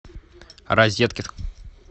розеткед